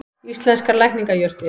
Íslenskar lækningajurtir.